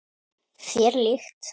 Þér líkt.